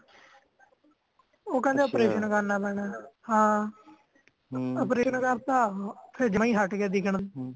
ਉਹ ਕਹਿੰਦੇ operation ਕਰਨਾ ਪੈਣੇ (overlap) operation ਕਰਤਾ ਫੇਰ ਜਮਾ ਇ ਹਟਗਯਾ ਦਿਖਣ